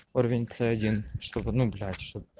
уровень ц один чтобы ну блять чтоб